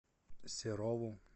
серову